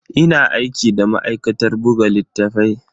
Ina aiki da ma'aikatar buga littatafai.